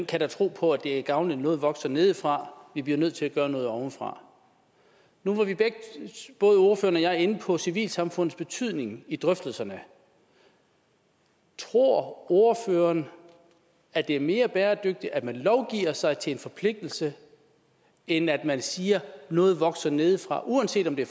kan da tro på at det er gavnligt at noget vokser nedefra vi bliver nødt til at gøre noget ovenfra nu var både ordføreren og jeg inde på civilsamfundets betydning i drøftelserne tror ordføreren at det er mere bæredygtigt at man lovgiver sig til en forpligtelse end at man siger at noget vokser nedefra uanset om det